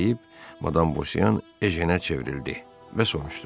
Bunu deyib madam Bosyan Ejenə çevrildi və soruşdu.